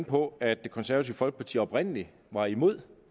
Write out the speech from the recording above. på at det konservative folkeparti oprindelig var imod